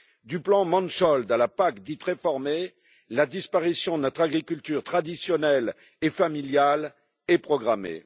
Du plan Mansholt à la PAC dite réformée, la disparition de notre agriculture traditionnelle et familiale est programmée.